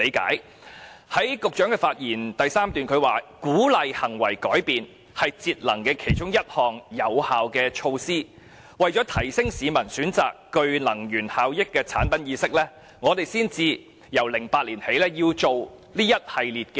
局長在其開場發言的第三段表示，鼓勵行為改變是節能其中一項有效的措施，為了提升市民選擇具能源效益的產品意識，政府才由2008年起推行一系列措施。